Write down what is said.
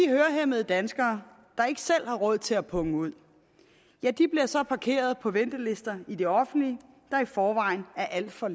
hørehæmmede danskere der ikke selv har råd til at punge ud bliver så parkeret på ventelister i det offentlige der i forvejen er alt for